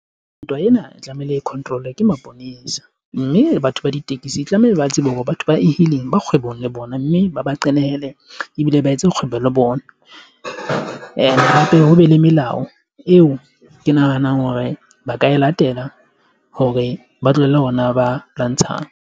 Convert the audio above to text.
Ntwa ena e tlamehile e control-we ke maponesa mme batho ba ditekisi tlamehile ba tsebe hore batho ba E-hailing, ba kgwebong le bona, mme ba ba iqenehele ebile ba etse kgwebo le bona and hape, ho be le melao eo ke nahanang hore ba ka e latela hore ba tlohelle ona ba lwantshang.